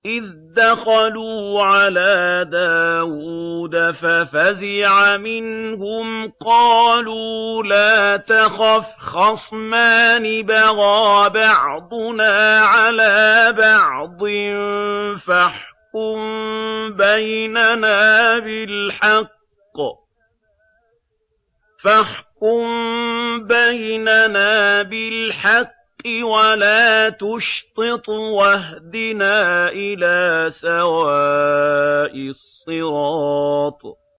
إِذْ دَخَلُوا عَلَىٰ دَاوُودَ فَفَزِعَ مِنْهُمْ ۖ قَالُوا لَا تَخَفْ ۖ خَصْمَانِ بَغَىٰ بَعْضُنَا عَلَىٰ بَعْضٍ فَاحْكُم بَيْنَنَا بِالْحَقِّ وَلَا تُشْطِطْ وَاهْدِنَا إِلَىٰ سَوَاءِ الصِّرَاطِ